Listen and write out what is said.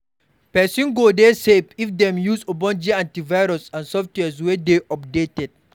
Perosn go dey safe if dem use ogbonge antivirus and software wey dey updated